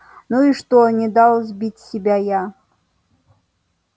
ну и что не дал сбить себя я